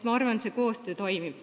Ma arvan, et see koostöö toimib.